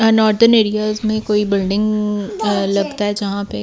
northern areas में कोई building लगता है यहां पे --